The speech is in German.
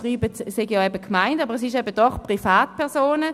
Sie schreiben, es seien die Gemeinden, es sind aber doch Privatpersonen.